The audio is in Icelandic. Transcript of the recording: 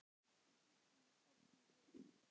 Kýrnar þornuðu upp.